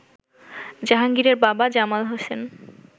জাহাঙ্গীরের বাবা জামাল হোসেন